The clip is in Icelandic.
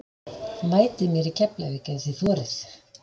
Mætið mér í Keflavík ef þið þorið!